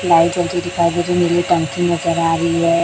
Light जलती दिखाई दे रही नीली टंकी नजर आ रही है।